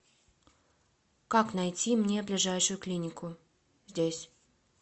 как найти мне ближайшую клинику здесь